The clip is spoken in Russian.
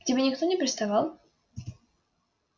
к тебе никто не приставал